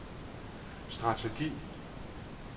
strategi